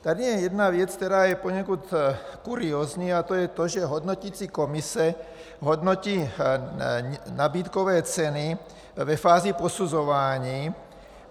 Tady je jedna věc, která je poněkud kuriózní, a to je to, že hodnoticí komise hodnotí nabídkové ceny ve fázi posuzování.